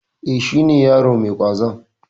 E, shi ne yaron mai ƙwazon.